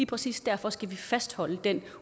præcis derfor skal vi fastholde den